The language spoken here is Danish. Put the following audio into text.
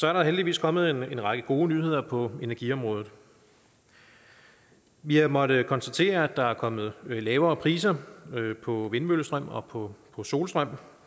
er der heldigvis kommet en række gode nyheder på energiområdet vi har måttet konstatere at der er kommet lavere priser på vindmøllestrøm og på solstrøm